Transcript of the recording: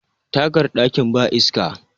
tagar dakin ba iska